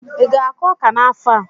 Ị ga-akụ ọka n'afọ a?